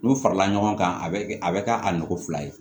N'u farala ɲɔgɔn kan a bɛ kɛ a bɛ kɛ a nɔgɔn fila ye